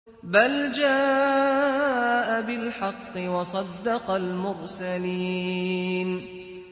بَلْ جَاءَ بِالْحَقِّ وَصَدَّقَ الْمُرْسَلِينَ